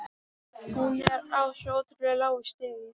Hún er á svo ótrúlega lágu stigi.